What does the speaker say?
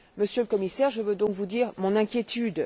Monsieur le Commissaire, je veux donc vous dire mon inquiétude.